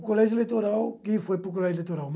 O Colégio Eleitoral, quem foi para o Colégio Eleitoral?